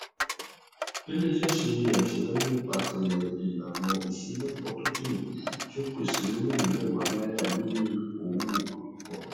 ileiṣẹ ṣe aṣeyọri nipasẹ ilana iṣelọpọ tokiini ti o pese miliọnu mẹwà naira nini owo akọkọ rẹ